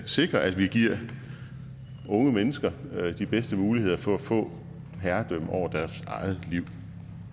sikrer at vi giver unge mennesker de bedste muligheder for at få herredømme over deres eget liv